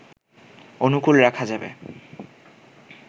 অনুকূল রাখা যাবে